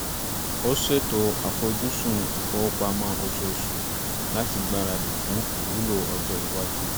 ó ṣètò àfojúsùn ìfowópamọ́ oṣooṣù láti gbáradì fún ìwúlò ọjọ́ iwájú